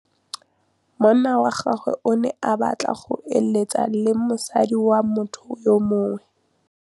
Monna wa gagwe o ne a batla go êlêtsa le mosadi wa motho yo mongwe.